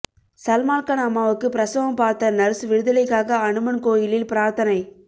சல்மான் கான் அம்மாவுக்கு பிரசவம் பார்த்த நர்ஸ் விடுதலைக்காக அனுமன் கோயிலில் பிரார்த்தனை